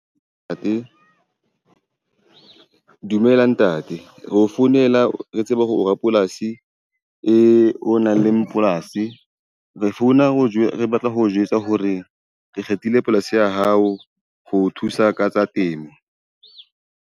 Ntate dumela ntate. ro founela re tseba hore o rapolasi o nang le polasi, re founa ho , re batla ho jwetsa hore re kgethile polasi ya hao ho thusa ka tsa temo.